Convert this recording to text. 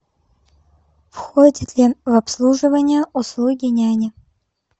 входит ли в обслуживание услуги няни